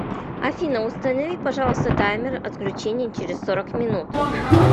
афина установи пожалуйста таймер отключения через сорок минут